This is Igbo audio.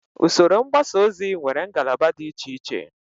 Usoro mgbasa ozi nwere ngalaba dị icheiche